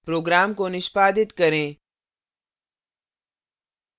program को निष्पादित करें